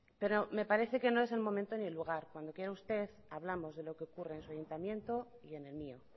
pero me parece que no es el momento ni el lugar cuando quiera usted hablamos de lo que ocurre en su ayuntamiento y en el mío